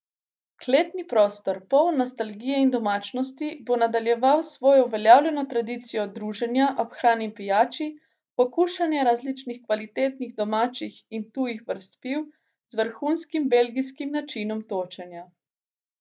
Kletni prostor, poln nostalgije in domačnosti, bo nadaljeval svojo uveljavljeno tradicijo druženja ob hrani in pijači, pokušanja različnih kvalitetnih domačih in tujih vrst piv z vrhunskim belgijskim načinom točenja.